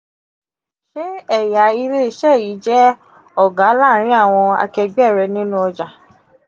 ṣe eya ile ise yi je oga laarin awon akegbe re ninu oja?